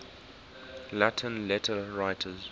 latin letter writers